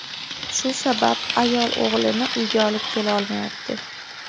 Shu sabab ayol o‘g‘lini uyga olib kela olmayapti.